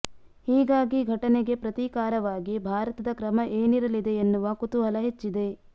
ಹೀಗಾಗಿ ಘಟನೆಗೆ ಪ್ರತೀಕಾರವಾಗಿ ಭಾರತದ ಕ್ರಮ ಏನಿರಲಿದೆ ಎನ್ನುವ ಕುತೂಹಲ ಹೆಚ್ಚಿದೆ